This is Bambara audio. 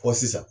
Fɔ sisan